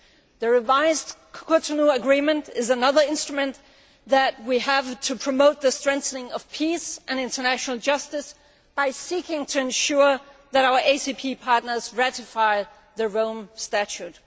The revised Cotonou Agreement is another instrument which we have to promote the strengthening of peace and international justice by seeking to ensure that our ACP partners ratify the Rome Statute.